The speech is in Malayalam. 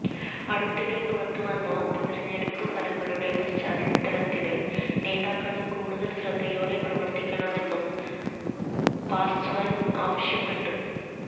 അടുത്തിടെ പുറത്തുവന്ന ഉപതെരഞ്ഞെടുപ്പു ഫലങ്ങളുടെ പശ്ചാത്തലത്തില് നേതാക്കള് കൂടുതല് ശ്രദ്ധയോടെ പ്രവര്ത്തിക്കണമെന്നും പാസ്വാന് ആവശ്യപ്പെട്ടു